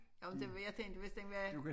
Jo det jeg tænkte hvis det med